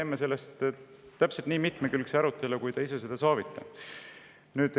Teeme sellest täpselt nii mitmekülgse arutelu, nagu te soovite.